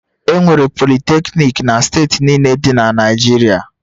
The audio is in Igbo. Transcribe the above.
Enwere Politecnik na steeti niile dị na Naịjirịa